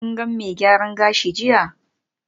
Kun ga mai gyaran gashi jiya?